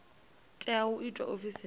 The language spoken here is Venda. tea u itwa ofisini ya